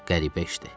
Qəribə işdir.